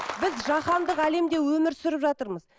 біз жаһандық әлемде өмір сүріп жатырмыз